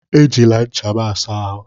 Ejila ncha m a saa ahụ!